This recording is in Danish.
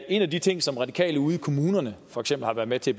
en af de ting som radikale ude i kommunerne for eksempel har været med til